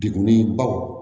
Degunni baw